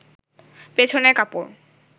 পেছনের কাপড়